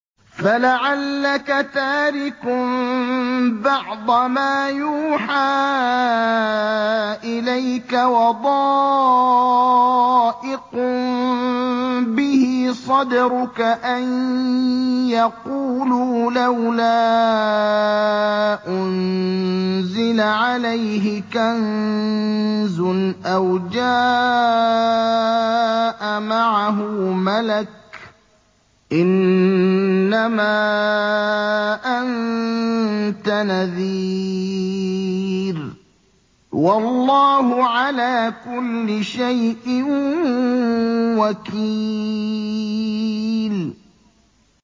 فَلَعَلَّكَ تَارِكٌ بَعْضَ مَا يُوحَىٰ إِلَيْكَ وَضَائِقٌ بِهِ صَدْرُكَ أَن يَقُولُوا لَوْلَا أُنزِلَ عَلَيْهِ كَنزٌ أَوْ جَاءَ مَعَهُ مَلَكٌ ۚ إِنَّمَا أَنتَ نَذِيرٌ ۚ وَاللَّهُ عَلَىٰ كُلِّ شَيْءٍ وَكِيلٌ